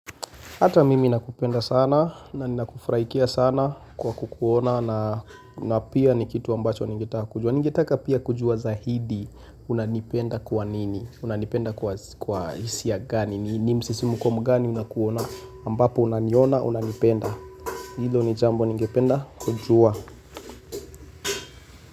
Hata mimi nakupenda sana na nina kufuraikia sana kwa kukuona na pia ni kitu ambacho nangetaka kujua. Ningetaka pia kujua zaidi unanipenda kwa nini, unanipenda kwa hisia gani, ni msisimuko mgani unakuona, ambapo unaniona unanipenda. Hilo ni jambo ningependa kujua.